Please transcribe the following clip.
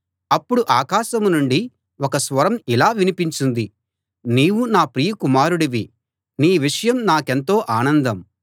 అప్పుడు ఆకాశం నుండి ఒక స్వరం ఇలా వినిపించింది నీవు నా ప్రియ కుమారుడివి నీ విషయం నాకెంతో ఆనందం